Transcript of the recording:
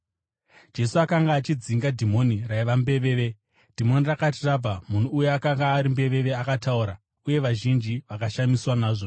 Jesu akanga achidzinga dhimoni raiva mbeveve. Dhimoni rakati rabva, munhu uya akanga ari mbeveve akataura, uye vazhinji vakashamiswa nazvo.